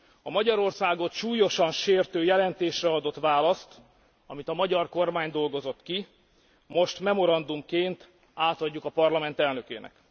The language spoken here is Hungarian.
A Magyarországot súlyosan sértő jelentésre adott választ, amit a magyar kormány dolgozott ki, most memorandumként átadjuk a Parlament elnökének.